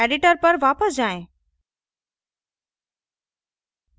editor पर वापस जाएँ